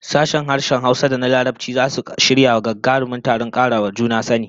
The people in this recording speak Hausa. Sashen harshen Hausa da na harshen Larabci zasu shirya gagarumin taron kara wa juna sani